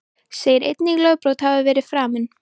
Segir engin lögbrot hafa verið framin